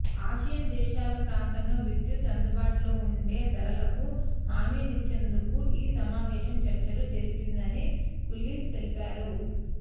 Asian దేశాల ప్రాంతంలో విద్యుత్ అందుబాటులోవుండే ధరలకు హామీనిచ్చేందుకు ఈ సమావేశం చర్చలు జరిపిందని కులీస్ తెలిపారు